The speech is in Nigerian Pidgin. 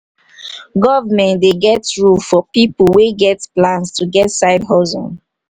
government dey get rule for pipo wey get plans to get side hustle